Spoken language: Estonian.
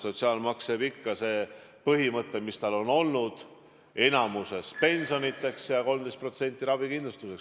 Sotsiaalmaksu puhul jääb ikka jõusse see põhimõte, mis tal on olnud: suuremas osas läheb see pensioniteks ja 13% ravikindlustuseks.